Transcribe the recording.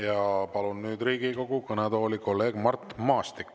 Ja palun nüüd Riigikogu kõnetooli kolleeg Mart Maastiku.